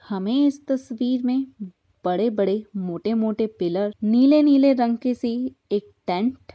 हमें इस तस्वीर में बड़े-बड़े मोटे-मोटे पिलर नीले-नीले रंग के सी ही एक टेंट --